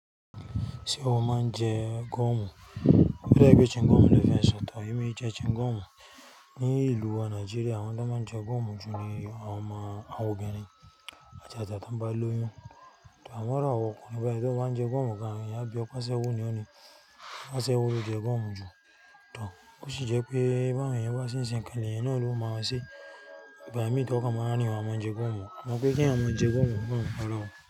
Ṣé ọ máa ń jẹ gọ̀mù? Ó dá wípé chewing gọ̀mù ló fẹ́ sọ̀ tàbí. Emú e jẹ chewing gọ̀mù ní ìlú wa Nàìjíríà, àwọn tó máa ń jẹ gọ̀mù jù ni àwọn ọmọ, àwọn obìnrin ajaja tó ń bà lóyún. Àmọ́ irú àwa ọkùnrin, bayi tó bá ń jẹ gọ̀mù gan-an àwọn á bí ọ̀ pe sẹ́ asewo ní ò ní. Aṣẹ́wó ló jẹ gọ̀mù jù. Tò, ó sì jẹ́ pé bí eẹ̀yan bá ṣe ń ṣe nǹkan, leẹ̀yan ó bá wọn ṣe ìgbàmí tí ìwọ kan a máa wa ní wà mọ́ jẹ gọ̀mù. Wọn mọ̀ pé kí ẹ̀yin à mọ̀ jẹ gúọ̀mù fún ọlọ́run.